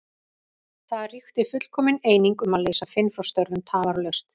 Það ríkti fullkomin eining um að leysa Finn frá störfum tafarlaust.